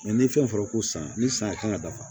ni fɛn fɔra ko san ni san kan ka dafa